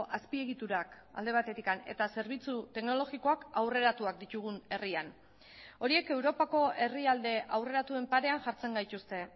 azpiegiturak alde batetik eta zerbitzu teknologikoak aurreratuak ditugun herrian horiek europako herrialde aurreratuen parean jartzen gaituzte